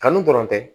Kanu dɔrɔn tɛ